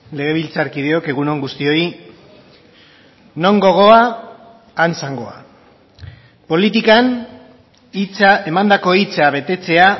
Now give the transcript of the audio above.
legebiltzarkideok egun on guztioi non gogoa han zangoa politikan hitza emandako hitza betetzea